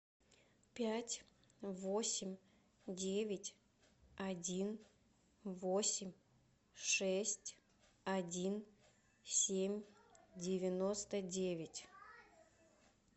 пять восемь девять один восемь шесть один семь девяносто девять